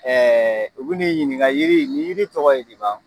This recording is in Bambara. Ɛɛ u bi n'i ɲininka yiri in ni yiri tɔgɔ ye di ba